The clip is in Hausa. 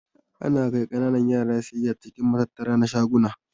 Ana kai kananan yara siyayya cikin matattara na shaguna.